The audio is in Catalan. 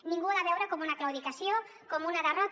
ningú ho ha de veure com una claudicació com una derrota